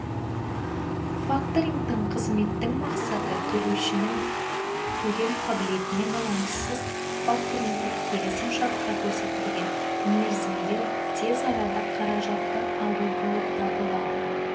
факторингтік қызметтің мақсаты төлеушінің төлем қаблетіне байланыссыз факторингтік келісім шартта көрсетілген мерзімде тез арада қаражатты алу болып табылады